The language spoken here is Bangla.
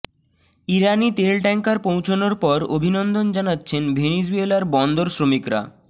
ইরানি তেল ট্যাংকার পৌঁছানোর পর অভিনন্দন জানাচ্ছেন ভেনিজুয়েলার বন্দর শ্রমিকরা